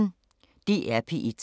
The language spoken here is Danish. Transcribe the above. DR P1